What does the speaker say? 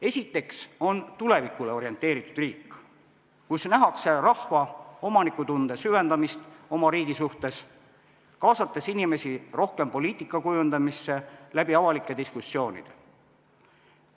Esiteks on tulevikule orienteeritud riik, kus nähakse rahva omanikutunde süvendamist oma riigi suhtes, kaasates inimesi rohkem poliitika kujundamisse avalike diskussioonide kaudu.